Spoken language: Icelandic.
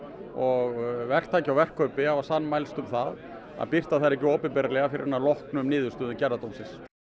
og verktaki og verkkaupi hafa sammælst um það að birta þær ekki opinberlega fyrr en að lokinni niðurstöðu gerðardóms